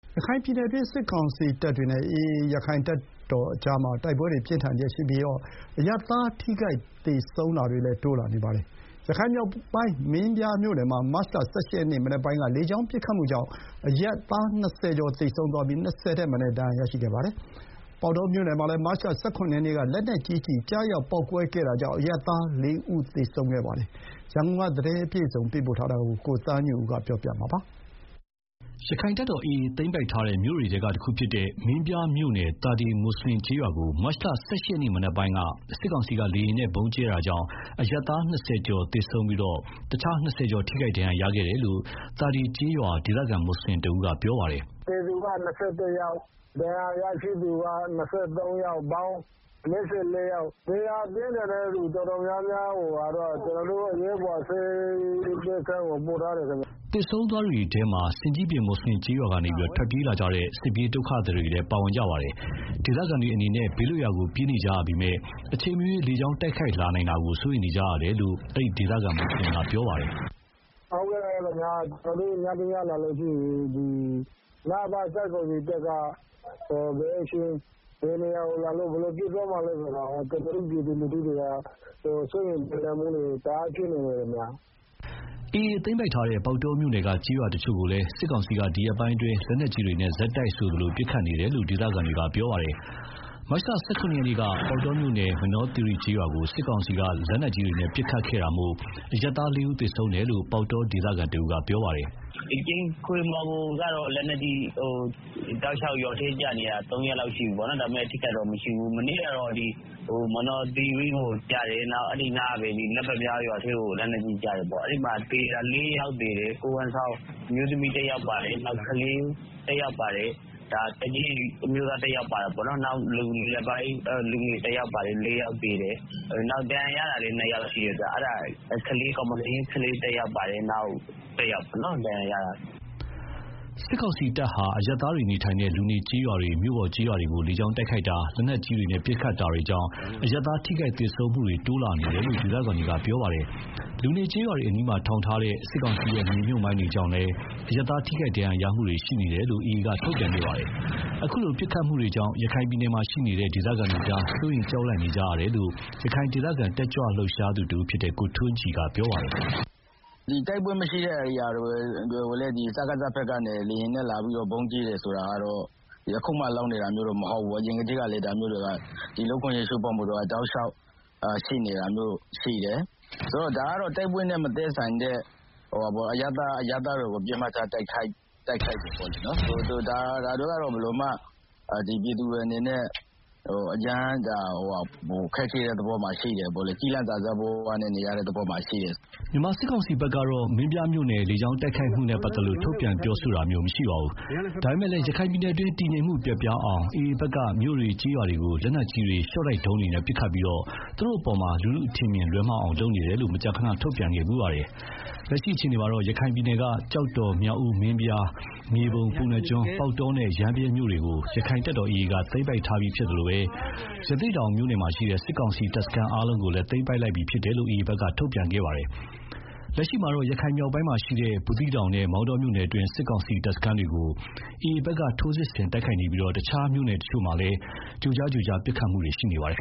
ရခိုင်ပြည်နယ်တွင်း စစ်ကောင်စီတပ်တွေနဲ့ AA ရက္ခိုင့်တပ်တော်ကြား တိုက်ပွဲတွေပြင်းထန်နေပြီး အရပ်သားထိခိုက်သေဆုံးမှုတွေလည်း တိုးလာနေပါတယ်။ ရခိုင်မြောက်ပိုင်း မင်းပြားမြို့နယ်မှာ မတ်လ ၁၈ ရက်နေ့ မနက်ပိုင်းက လေကြောင်းပစ်ခတ်မှုကြောင့် အရပ်သား ၂ဝ ကျော်သေဆုံးပြီး ၂ဝ ထက်မနည်းဒဏ်ရာရရှိခဲ့ပါတယ်။ ပေါက်တောမြို့နယ်မှာလည်း မတ်လ ၁၇ ရက်နေ့က လက်နက်ကြီးကျည်ကျရောက် ပေါက်ကွဲခဲ့တာကြောင့် အရပ်သား ၄ ဦးသေဆုံးခဲ့ပါတယ်။ သတင်းအပြည့်အစုံ ရန်ကုန်ကပေးပို့ထားတာကို ကိုသားညွန့်ဦးက တင်ပြပေးထားပါတယ်။ ရက္ခိုင့်တပ်တော် AA သိမ်းပိုက်ထားတဲ့မြို့တွေထဲကတခုဖြစ်တဲ့ မင်းပြားမြို့နယ် သာဒေ မွတ်ဆလင်ကျေးရွာကို မတ်လ ၁၈ ရက်မနက်ပိုင်းမှာ စစ်ကောင်စီက လေယာဉ်နဲ့ ဗုံးကြဲခဲ့တာကြောင့် အရပ်သား ၂ဝ ကျော်သေဆုံးပြီး ၂ဝ ကျော် ဒဏ်ရာရရှိခဲ့တယ်လို့ သာဒေကျေးရွာ ဒေသခံမွတ်ဆလင်တဦးက ပြောပါတယ်။ “သေသူက ၂၁ ယောက်၊ ဒဏ်ရာရရှိသူက ၂၃ ယောက်၊ ပေါင်း ၄၄ ယောက်ရှိတယ်ခင်ဗျာ။ ဒဏ်ရာပြင်းထန်တဲ့သူ တော်တော်များများကိုတော့ ကျနော်တို့ အရေးပေါ်ဆေးပေးခန်းကို ပို့ထားတယ်ခင်ဗျာ။” သေဆုံးသွားသူတွေထဲမှာ ဆင်ကြီးပြင် မွတ်ဆလင်ကျေးရွာကနေ ထွက်ပြေးလာကြတဲ့ စစ်ဘေးဒုက္ခသည်တွေလည်း ပါဝင်တာပါ။ ဒေသခံတွေအနေနဲ့ ဘေးလွတ်ရာကိုပြေးနေကြရပေမဲ့ အချိန်မရွေးလေကြောင်းတိုက်ခိုက်လာနိုင်တာကို စိုးရိမ်နေကြရတယ်လို့လည်း အဲဒီ ဒေသခံမွတ်ဆလင်က ပြောပါတယ်။ “ညရောက်လာလို့ရှိရင် စစ်ကောင်စီတပ်က ဘယ်အချိန် ဘယ်နေရာ လာလို့ ဘယ်လိုပစ်သွားမှာလဲ ဆိုတာကို ကျနော်တို့ ပြည်သူလူထုတွေက စိုးရိမ်ကြောင်းကြပ် မှုတွေ တအားဖြစ်နေပါတယ်ခင်ဗျာ။” AA သိမ်းပိုက်ထားတဲ့ ပေါက်တောမြို့နယ်က ကျေးရွာတချို့ကိုလည်း စစ်ကောင်စီက ဒီရက်ပိုင်းအတွင်း လက်နက်ကြီးတွေနဲ့ဆက်တိုက်ဆိုသလို ပစ်ခတ်နေတယ်လို့ ဒေသခံတွေကပြောပါတယ်။ မတ်လ ၁၇ ရက်နေ့က ပေါက်တောမြို့နယ် မနော်သီရိကျေးရွာကို စစ်ကောင်စီက လက်နက်ကြီးတွေနဲ့ ပစ်ခတ်ခဲ့တာကြောင့် အရပ်သား ၄ ဦးသေဆုံးခဲ့တယ်လို့ ပေါက်တောဒေသခံတဦးကပြောပါတယ်။ “ကြိမ်ခွေမော်ကိုကျတော့ လက်နက်ကြီး ရွာထဲကျနေတာ ၃ ရက်လောက်ရှိပြီ။ ဒါပေမဲ့ ထိခိုက်ဒဏ်ရာရတာတော့ မရှိပါဘူး။ မနေ့ကတော့ မနော်သီရိကိုကျတယ်။ နောက် အဲဒီနားကပဲ လက်ပန်ပြားရွာထဲကို ကျတယ်။ အဲဒီမှာ ၄ ယောက် သေတယ်၊ ကိုယ်ဝန်ဆောင်အမျိုး သမီးတယောက်ပါတယ်၊ နောက် ကလေးတယောက်ပါတယ်၊ သက်ကြီး အမျိုးသားတယောက်ပါတယ်။ နောက်လူငယ်တယောက်ပါတယ်။ ၄ ယောက်သေတယ်။ နောက် ဒဏ်ရာရတာလည်း ၂ ယောက်ရှိတယ်ဗျာ။ ကောင်မလေး ကလေးတယောက်နဲ့ နောက်တယောက် ပေါ့နော် ဒဏ်ရာရတာ။” စစ်ကောင်စီတပ်ဟာ လူနေကျေးရွာတွေ၊ မြို့တွေကို လေကြောင်းတိုက်ခိုက်တာ၊ လက်နက်ကြီးပစ်ခတ်တာတွေကြောင့် အရပ်သားထိခိုက်သေဆုံးမှုတွေ တိုးလာနေတယ်လို့ ဒေသခံတွေက ပြောပါတယ်။ လူနေကျေးရွာအနီးမှာ ထောင်ထားတဲ့ စစ်ကောင်စီရဲ့မြေမြှုပ်မိုင်းတွေကြောင့်လည်း အရပ်သားထိခိုက်ဒဏ်ရာရမှုတွေရှိနေတယ်လို့ AA က ထုတ်ပြန်ပါတယ်။ အခုလို ပစ်ခတ်တာတွေကြောင့် ရခိုင်ပြည်နယ်ကဒေသခံတွေဟာ စိုးရိမ် ကြောက်လန့်နေကြရတယ်လို့လည်း ရခိုင်ဒေသခံတက်ကြွလှုပ်ရှားသူ ကိုထွန်းကြည်က ပြောပါတယ်။ “တိုက်ပွဲမရှိတဲ့ ဧရိယာတွေကိုလည်း စကစဘက်က လေယာဉ်နဲ့လာပြီး ဗုံးကြဲတာကတော့ အခုမှ မဟုတ်ပါဘူး၊ အရင်ကလည်း ဒီလူ့အခွင့်အရေးချိုးဖောက်မှုတွေက တောက်လျှောက် ရှိနေတယ်။တိုက်ပွဲနဲ့မသက်ဆိုင်တဲ့ အရပ်သားပြည်သူတွေကို တိုက်ခိုက်တယ်။ ဒါကြောင့် ပြည်သူတွေအနေနဲ့ အရမ်းခက်ခဲတဲ့သဘောမှာရှိတယ်၊ ကျီးလန့်စာစားဘဝနဲ့နေရတဲ့သဘောမှာရှိတယ်။” မြန်မာစစ်ကောင်စီဘက်ကတော့ မင်းပြားမြို့နယ်လေကြောင်းတိုက်ခိုက်မှုနဲ့ ပတ်သက်လို့ ထုတ်ပြန်ပြောဆိုတာမျိုးမရှိပါဘူး။ ဒါပေမဲ့ ရခိုင်ပြည်နယ်တွင်း တည်ငြိမ်မှုပျက်ပြားအောင် AA ဘက်က မြို့တွေ ကျေးရွာတွေကို လက်နက်ကြီးတွေ၊ ရှော့တိုက်ဒုံးတွေနဲ့ပစ်ခတ်ပြီး သူတို့ကို လူထုအထင်အမြင်လွဲအောင်လုပ်နေတယ်လို့ မကြာခဏ ထုတ်ပြန်ခဲ့ဖူးပါတယ်။ လက်ရှိမှာတော့ ရခိုင်ပြည်နယ်က ကျောက်တော်၊ မြောက်ဦး၊ မင်းပြား၊ မြေပုံ၊ ပုဏ္ဏားကျွန်း၊ ပေါက်တောနဲ့ ရမ်းဗြဲမြို့နယ်တွေကို ရက္ခိုင့်တပ်တော် AA က သိမ်းပိုက်ထားပြီးဖြစ်သလို ရသေ့တောင်မြို့နယ်မှာရှိတဲ့ စစ်ကောင်စီတပ်စခန်းအားလုံးကိုလည်း သိမ်းပိုက်လိုက်ပြီဖြစ်တယ်လို့ AA ဘက်က ထုတ်ပြန်ထားပါတယ်။ အခုလက်ရှိမှာလည်း ရခိုင်မြောက်ပိုင်းက ဘူးသီးတောင်နဲ့ မောင်တောမြို့နယ်တွင်း စစ်ကောင်စီတပ်စခန်းတွေကို AA ဘက်က ထိုးစစ်ဆင်တိုက်ခိုက်နေပြီး တခြားမြို့နယ်တချို့မှာလည်း ကြိုကြားကြိုကြား ပစ်ခတ်မှုတွေ ရှိနေပါတယ်